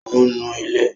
Ò ń nu ilẹ̀